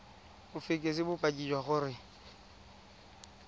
o fekese bopaki jwa gore